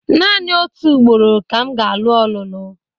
Naanị otu ugboro ka m ga-alụ ọlụlụ.